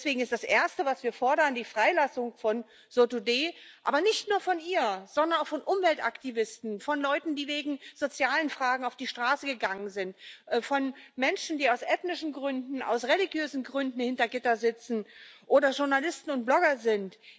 Deswegen ist das Erste, was wir fordern, die Freilassung von Nasrin Sotudeh, aber nicht nur von ihr, sondern auch von Umweltaktivisten, von Leuten, die wegen sozialer Fragen auf die Straße gegangen sind, von Menschen, die aus ethnischen Gründen oder aus religiösen Gründen hinter Gittern sitzen oder Journalisten und Blogger sind.